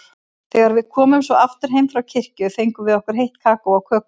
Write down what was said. Þegar við komum svo aftur heim frá kirkju fengum við heitt kakó og kökur.